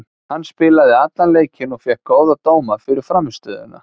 Hann spilaði allan leikinn og fékk góða dóma fyrir frammistöðuna.